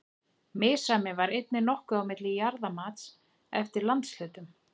Misræmi var einnig nokkuð á milli jarðamats eftir landshlutum.